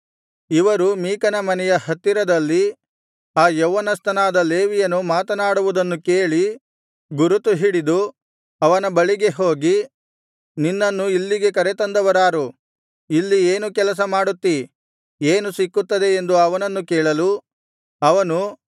ಇವರು ಮೀಕನ ಮನೆಯ ಹತ್ತಿರದಲ್ಲಿ ಆ ಯೌವನಸ್ಥನಾದ ಲೇವಿಯನು ಮಾತನಾಡುವುದನ್ನು ಕೇಳಿ ಗುರುತುಹಿಡಿದು ಅವನ ಬಳಿಗೆ ಹೋಗಿ ನಿನ್ನನ್ನು ಇಲ್ಲಿಗೆ ಕರೆತಂದವರಾರು ಇಲ್ಲಿ ಏನು ಕೆಲಸ ಮಾಡುತ್ತೀ ಏನು ಸಿಕ್ಕುತ್ತದೆ ಎಂದು ಅವನನ್ನು ಕೇಳಲು ಅವನು